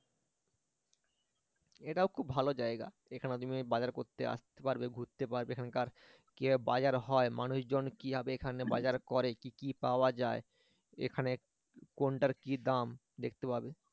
এটাও খুব ভালো জায়গা এখানে তুমি বাজার করতে আসতে পারবে এখানকার কিভাবে বাজার হয় মানুষজন কিভাবে এখানে বাজার করে কি কি পাওয়া যায় এখানে কোনটার কি দাম দেখতে পাবে